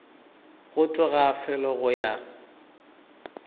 go tloga felo go ya